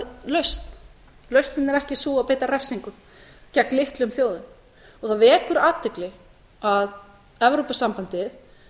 lausn lausnin er ekki sú að beita refsingu gegn litlum þjóðum það vekur athygli að evrópusambandið